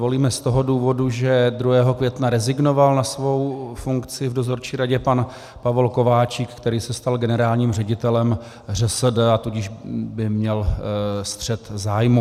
Volíme z toho důvodu, že 2. května rezignoval na svou funkci v dozorčí radě pan Pavol Kováčik, který se stal generálním ředitelem ŘSD, a tudíž by měl střet zájmů.